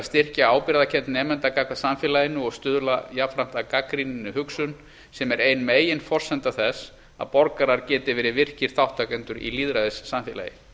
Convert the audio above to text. styrkja ábyrgðarkennd nemenda gagnvart samfélaginu og stuðla jafnframt að gagnrýninni hugsun sem er ein meginforsenda þess að borgarar geti verið virkir þátttakendur í lýðræðissamfélagi